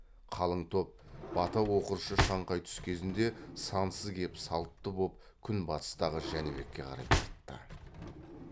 қалың топ бата оқыршы шаңқай түс кезінде сансыз кеп салтты боп күнбатыстағы жәнібекке қарай тартты